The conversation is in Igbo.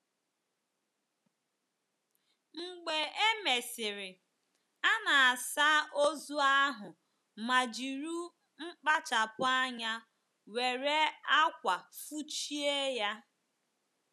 Mgbe e mesịrị, a na - asa ozu ahụ ma jiri kpachapụ anya were ákwà fụchie ya.